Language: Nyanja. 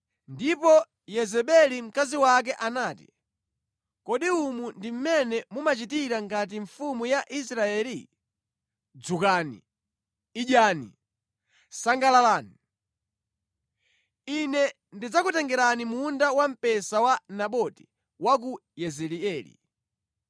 Ndipo Yezebeli mkazi wake anati, “Kodi umu ndi mmene mumachitira ngati mfumu ya Israeli? Dzukani, idyani! Sangalalani. Ine ndidzakutengerani munda wamphesa wa Naboti wa ku Yezireeli.”